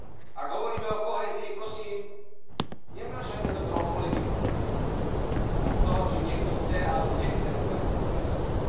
Ak hovoríme o kohézii, prosím, nevnášajme do toho politiku a to, či niekto chce alebo nechce v kohézii pokračovať.